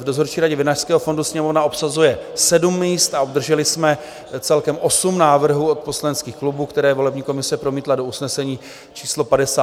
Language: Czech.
V dozorčí radě Vinařského fondu Sněmovna obsazuje sedm míst a obdrželi jsme celkem osm návrhů od poslaneckých klubů, které volební komise promítla do usnesení číslo 58 z 25. března.